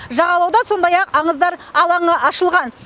жағалауда сондай ақ аңыздар алаңы ашылған